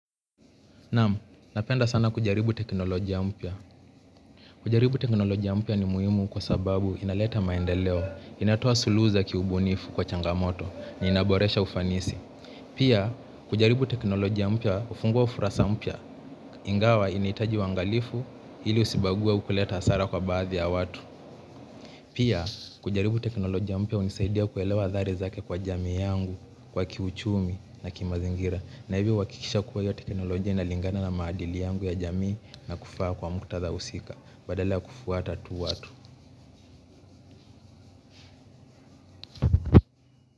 Nam, napenda sana kujaribu teknolojia mpya. Kujaribu teknolojia mpya ni muhimu kwa sababu inaleta maendeleo. Inatoa suluhu kiubunifu kwa changamoto ni boreshau ufanisi. Pia, kujaribu teknolojia mpya hufungua ukurasa mpya. Ingawa inahitaji uangalifu ili usibague au kuleta hasara kwa baadhi ya watu. Pia, kujaribu teknolojia mpya hunisaidia kuelewa athari zake kwa jami yangu, kwa kiuchumi na kimazingira. Na hivyo huhakikisha kuwa hiyo teknolojia inalingana na maadili yangu ya jamii na kufaa kwa muktadha husika badala ya kufuata tu watu.